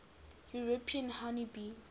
european honey bee